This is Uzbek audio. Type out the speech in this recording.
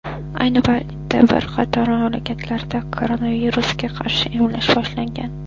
Ayni paytda bir qator mamlakatlarda koronavirusga qarshi emlash boshlangan.